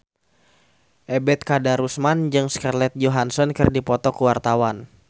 Ebet Kadarusman jeung Scarlett Johansson keur dipoto ku wartawan